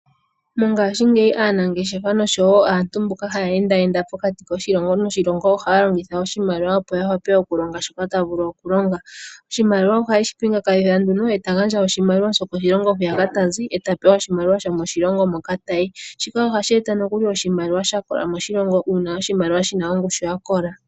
Mongashingeyi aanangeshefa noshowo aantu mboka haya endaenda pokati koshilongo noshilongo, ohaya longitha oshimaliwa opo yavule okulonga shoka taya vulu okulonga. Oshimaliwa ohayeshi pingakanitha, e to gandja oshimaliwa shokoshilongo hoka tozi, e tapewa oshimaliwa shomoshilongo moka tayi. Shika ohashi e ta nookuli oshimaliwa shakola moshilongo, ano oshimaliwa shina ongushu yakola.